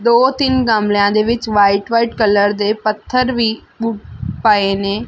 ਦੋ ਤਿੰਨ ਗਮਲਿਆਂ ਦੇ ਵਿੱਚ ਵਾਈਟ ਵਾਈਟ ਕਲਰ ਦੇ ਪੱਥਰ ਵੀ ਪਏ ਨੇ।